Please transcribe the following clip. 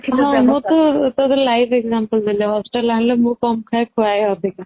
ହଁ ଆମକୁ life example ଦେଲେ